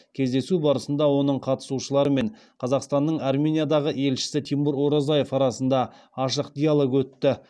кездесу барысында оның қатысушылары мен қазақстанның армениядағы елшісі тимур оразаев арасында ашық диалог өтті